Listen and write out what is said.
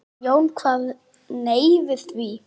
Jón kvað nei við því.